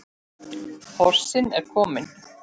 Porsinn er kominn.